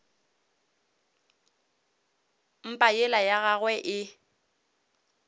mpa yela ya gagwe e